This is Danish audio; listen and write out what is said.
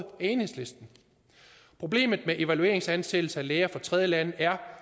enhedslisten problemet med evalueringsansættelser af læger fra tredjelande er